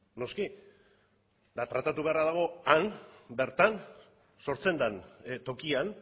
noski eta tratatu beharra dago han bertan sortzen den tokian